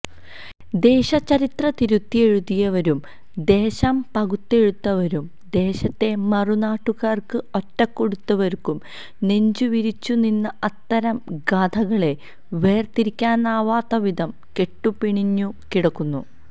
ദേശ ചരിത്രം തിരുത്തിയെഴുതിയവരും ദേശംപകുത്തെടുത്തവരും ദേശത്തെ മറുനാട്ടുകാര്ക്ക് ഒറ്റുകൊടുത്തവരും നെഞ്ചുവിരിച്ചുനിന്ന അത്തരം ഗാഥകളെ വേര്തിരിക്കാനാവാത്ത വിധം കെട്ടുപിണഞ്ഞു കിടക്കുന്നു